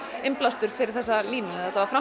innblástur fyrir þessa línu